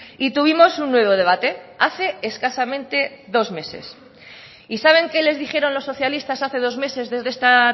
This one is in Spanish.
y tuvimos un nuevo debate hace escasamente dos meses y saben qué les dijeron los socialistas hace dos meses desde esta